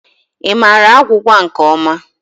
Ị maara agwụgwa nke ọma?